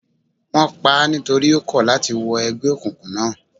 Wón paá nítorí ó kọ̀ láti wọ ẹgbẹ́ òkùnkùn náà.